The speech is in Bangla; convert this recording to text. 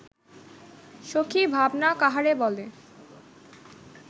সখী ভাবনা কাহারে বলে